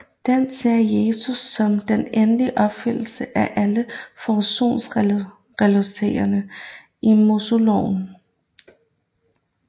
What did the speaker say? Den ser Jesus som den endelige opfyldelse af alle forsoningsritualerne i Moseloven